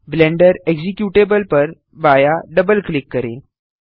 blender executable पर बायाँ double click करें